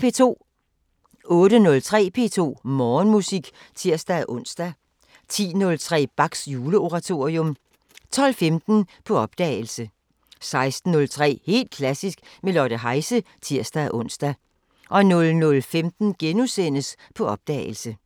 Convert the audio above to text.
08:03: P2 Morgenmusik (tir-ons) 10:03: Bachs Juleoratorium 12:15: På opdagelse 16:03: Helt Klassisk med Lotte Heise (tir-ons) 00:15: På opdagelse *